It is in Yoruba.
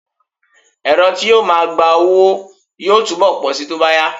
Ẹ̀̀rọ tí yóò máa gba owó yóò túbọ̀ pọ̀ síi tó bá yá